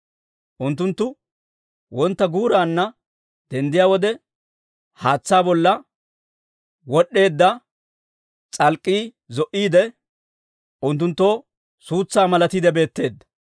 Unttunttu wontta guuraanna denddiyaa wode, haatsaa bolla wod'd'eedda s'alk'k'ii zo"iide, unttunttoo suutsaa malatiide beetteedda.